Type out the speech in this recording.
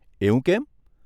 એવું કેમ?